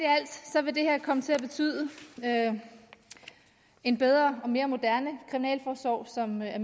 vil det her komme til at betyde en bedre og mere moderne kriminalforsorg som er